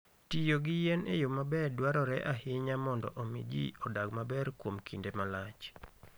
Tiyo gi yien e yo maber dwarore ahinya mondo omi ji odag maber kuom kinde malach.